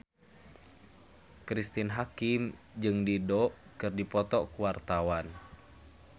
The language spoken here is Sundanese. Cristine Hakim jeung Dido keur dipoto ku wartawan